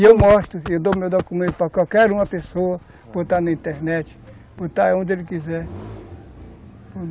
E eu mostro, eu dou meu documento para qualquer uma pessoa, botar na internet, botar onde ele quiser.